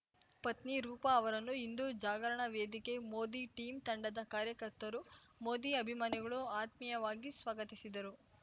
ಪತ್ನಿ ರೂಪಾ ಅವರನ್ನು ಹಿಂದೂ ಜಾಗರಣ ವೇದಿಕೆ ಮೋದಿ ಟೀಂ ತಂಡದ ಕಾರ್ಯಕರ್ತರು ಮೋದಿ ಅಭಿಮಾನಿಗಳು ಆತ್ಮೀಯವಾಗಿ ಸ್ವಾಗತಿಸಿದರು